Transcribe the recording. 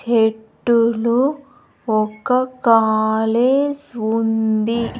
తేట్టులో ఒక్క కాలేస్ ఉంది.